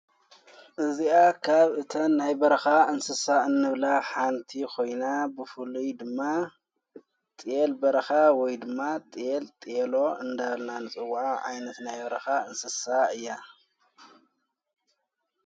እዚኣ ካብ እተን ናይ በርኻ እንስሳእን ብላ ሓንቲ ኾይና ብፉሉይ ድማ ጢል በረኻ ወይ ድማ ጢል ጢሎ እንዳልናን ጸዉዓ ኣይነት ናይ በረኻ እንስሳ እያ።